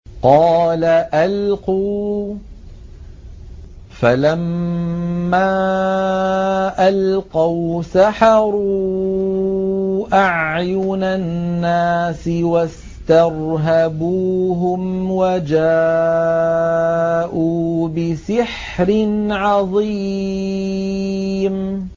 قَالَ أَلْقُوا ۖ فَلَمَّا أَلْقَوْا سَحَرُوا أَعْيُنَ النَّاسِ وَاسْتَرْهَبُوهُمْ وَجَاءُوا بِسِحْرٍ عَظِيمٍ